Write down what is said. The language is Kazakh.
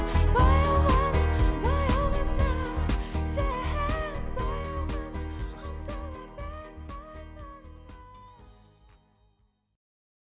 баяу ғана баяу ғана сен баяу ғана ұмтыла